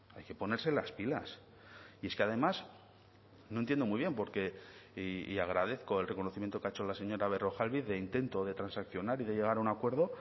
hay que ponerse las pilas y es que además no entiendo muy bien porque y agradezco el reconocimiento que ha hecho la señora berrojalbiz de intento de transaccionar y de llegar a un acuerdo